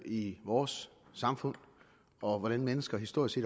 i vores samfund og hvordan mennesker historisk